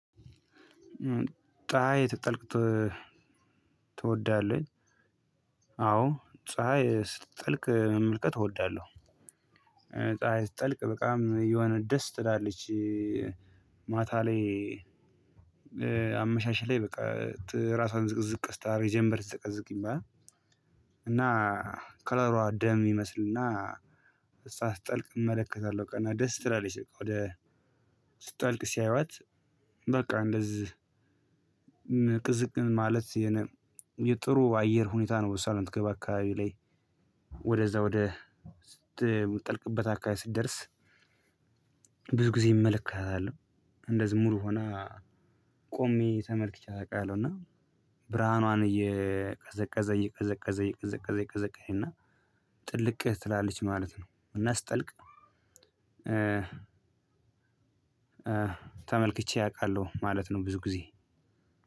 ፀሀይ ስትጠልቅ ትወዳለህ? አዎ ፀሀይ ስትጠልቅ መመልከት እወዳለሁ። ፀሀይ ስትጠልቅ በጣም የሆነ ደስ ትላለች። ማታ ላይ። አመሻሽ ላይ በቃ ራሷን ዝቅዝቅ ስታረግ ጀምበር ስትዘቀዝቅ ይባላል። እና ከለሯ ደም ይመስልና። እሷ ስትጠልቅ እመለከታለሁ እና ደስ ትላለች ወደ ስትጠልቅ ሲያዩዋት። በቃ እንደዚህ ቅዝቅ ማለት የነ የጥሩ አየር ሁኔታ ነው። እሷ ምትገባ አካባቢ ላይ ወደዛ ወደ ስትጠልቅበት አካባቢ ስትደርስ። ብዙ ጊዜ እመለከታለሁ። እንደዚህ ሙሉ ሆና ቆሜ ተመልክቻት አውቃለሁ። እና ብርሃኗን እየቀዘቀዘ እየቀዘቀዘ እየቀዘቀዘ እየቀዘቀዘ እና ጥልቅ ትላለች ማለት ነው። እና ስትጠልቅ ተመልክቼ አውቃለሁ ማለት ነው። ብዙ ጊዜ